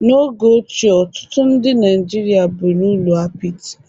n'oge ochie ọtụtụ ndị Naijiria bi n'ụlọ apịtị